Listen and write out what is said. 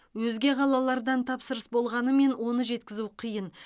өзге қалалардан тапсырыс болғанымен оны жеткізу қиын